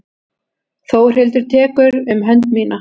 Þórhildur tekur um hönd mína.